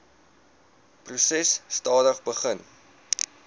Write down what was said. proses stadig begin